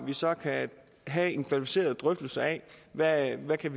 vi så kan have en kvalificeret drøftelse af hvad vi kan